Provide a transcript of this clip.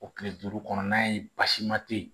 O kile duuru kɔnɔna ye basi ma te yen